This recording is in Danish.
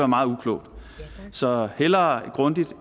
meget uklogt så hellere grundigt